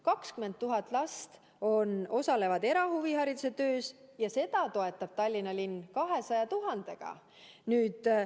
20 000 last osaleb erahuvihariduse töös ja seda toetab Tallinna linn 200 000 euroga.